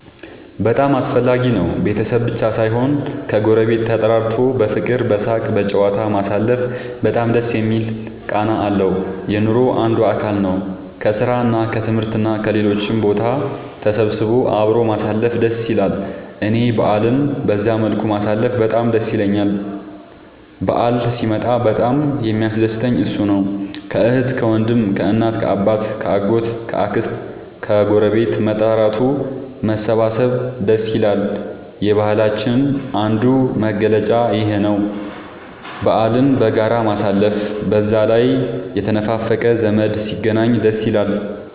በጣም አስፈላጊ ነው ቤተሰብ ብቻ ሳይሆን ከ ጎረቤት ተጠራርቶ በፍቅር በሳቅ በጨዋታ ማሳለፉ በጣም ደስ የሚል ቃና አለው። የኑሮ አንዱ አካል ነው። ከስራ እና ከትምህርት እና ከሌሎችም ቦታ ተሰብስቦ አብሮ ማሳለፍ ደስ ይላል እኔ በአልን በዛ መልኩ ማሳለፍ በጣም ደስ ይለኛል በአል ሲመጣ በጣም የሚያስደስተኝ እሱ ነው። ከአህት ከወንድም ከእናት ከአባት ከ አጎት ከ አክስት ከግረቤት መጠራራቱ መሰባሰብ ደስ ይላል። የባህላችንም አንዱ መገለጫ ይኽ ነው በአልን በጋራ ማሳለፍ። በዛ ላይ የተነፋፈቀ ዘመድ ሲገናኝ ደስ ይላል